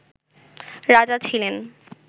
রাজা ছিলেন